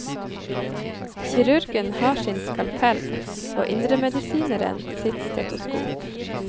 Kirurgen har sin skalpell og indremedisineren sitt stetoskop.